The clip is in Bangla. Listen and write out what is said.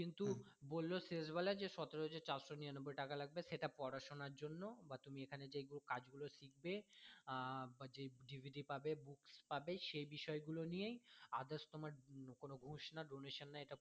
বললো যে শেষ বেলায় যে সতেরো হাজার চারশো নিরানব্বই টাকা লাগবে সেটা পড়াশোনার জন্য বা তুমি এখানে যেই কাজ গুলো শিখবে আহ বা DVD পাবে books পাবে সেই বিষয় গুলো নিয়েই others তোমার ঘুস না donation না